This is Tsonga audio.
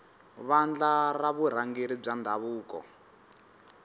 vandla ra vurhangeri bya ndhavuko